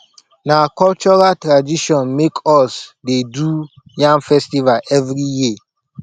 na cultural tradition make us dey do yam festival every year